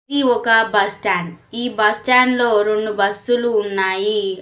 ఇది ఆమె బస్టాండ్ ఈ బస్టాండ్ లో రెండు బస్సులు ఉన్నాయి.